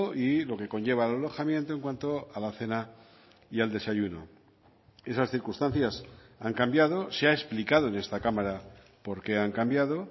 y lo que conlleva el alojamiento en cuanto a la cena y al desayuno esas circunstancias han cambiado se ha explicado en esta cámara por qué han cambiado